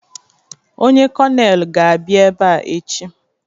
Onye kọnelụ ga-abịa ebe a echi.